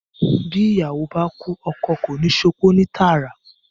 Bí ìyàwó báá kúú, oko kò níí sopó ní tààrà.